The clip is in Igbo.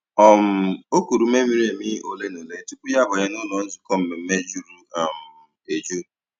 um O kùrù ùmè mìrí èmì òlé na òlé tupu ya àbànyè n'ụ́lọ́ nzukọ́ mmèmme jùrù um èjù.